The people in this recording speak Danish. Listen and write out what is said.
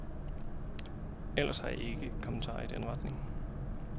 Ellers har jeg ikke kommentarer i den retning.